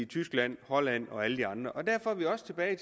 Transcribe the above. tyskland holland og alle de andre derfor er vi også tilbage